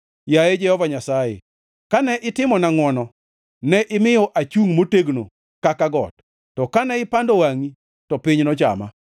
Yaye Jehova Nyasaye, kane itimona ngʼwono, ne imiyo achungʼ motegno kaka got; to kane ipando wangʼi, to piny nochama.